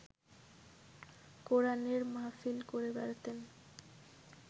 কোরানের মাহফিল করে বেড়াতেন